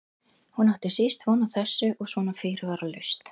Hún átti síst von á þessu og svona fyrirvaralaust!